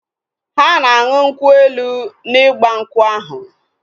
Ha na anụ nkwu elu na igbankwu ahu